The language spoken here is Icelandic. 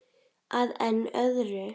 Að enn öðru.